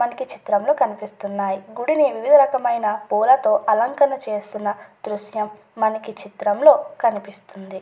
మనకి ఈ చిత్రం లో కనిపిస్తున్నాయి. గుడిని వివిధ రకమైన పూలతో అలమకారణ చేసిన దృశ్యం మనకి ఈ దృశ్యం లో కనిపిస్తుంది.